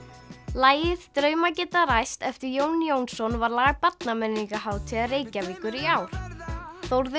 lagið draumar geta ræst eftir Jón Jónsson var lag Reykjavíkur í ár Þórður